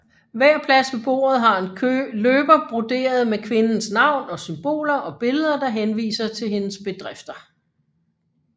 Hver plads ved bordet har en løber broderet med kvindens navn og symboler og billeder der henviser til hendes bedrifter